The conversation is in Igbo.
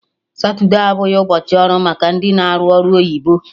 Satude abụghị ụbọchị ọrụ maka ndị na-arụ ọrụ oyibo